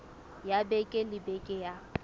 ya beke le beke ya